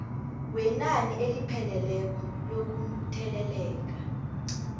wenani elipheleleko lokutheleleka